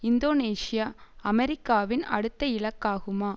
Indonesia அமெரிக்காவின் அடுத்த இலக்காகுமா